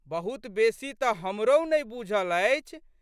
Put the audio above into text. बहुत बेशी तऽ हमरहु नहि बूझल अछि।